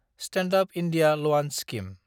stand-up India लवान scheme